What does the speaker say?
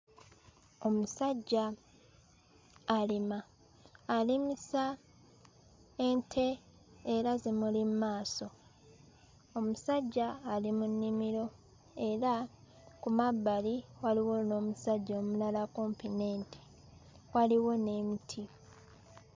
Omusajja alima alimisa ente era zimuli mmaaso omusajja ali mu nnimiro era ku mabbali waliwo n'omusajja omulala kumpi n'ente waliwo n'emiti.